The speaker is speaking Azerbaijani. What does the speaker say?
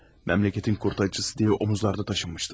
Memleketin kurtarıcısı diye omuzlarda taşınmışlar.